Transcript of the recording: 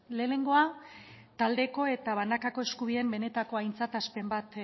lehenengoa taldeko eta banakako eskubideen benetako aintzatespen bat